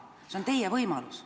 See on teie võimalus.